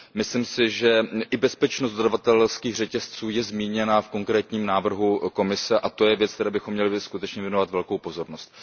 Myslím si, že i bezpečnost dodavatelských řetězců je zmíněna v konkrétním návrhu Komise, a to je věc, které bychom skutečně měli věnovat velkou pozornost.